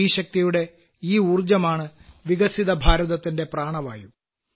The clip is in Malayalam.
സ്ത്രീശക്തിയുടെ ഈ ഊർജ്ജമാണ് വികസിത ഭാരതത്തിന്റെ പ്രാണവായു